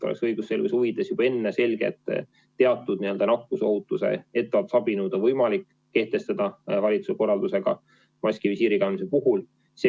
Õigusselguse huvides peab olema juba enne selge, et teatud nakkusohutuse ettevaatusabinõud on võimalik kehtestada valitsuse korraldusega, seda ka maski ja visiiri kandmise puhul.